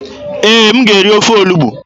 Ee, m ga-eri ofe olugbu.